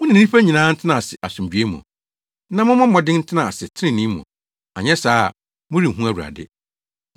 Mo ne nnipa nyinaa ntena ase asomdwoe mu, na mommɔ mmɔden ntena ase trenee mu. Anyɛ saa a, morenhu Awurade.